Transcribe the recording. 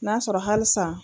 N'a'a sɔrɔ hali san.